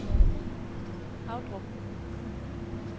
Havdrup